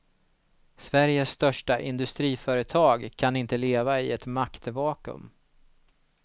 Sveriges största industriföretag kan inte leva i ett maktvakuum.